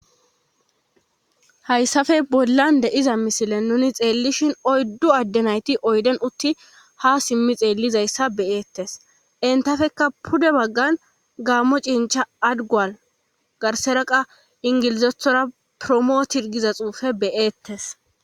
hayssafe bollan de'iza misilen nuni xeellishin oyddu adde nayti oyden utti ha simmi xeellizayssa beyeettes entafekka pude baggan gammo cincha adgual garseraqa ingilizethora promootir giza xuufe be'eettes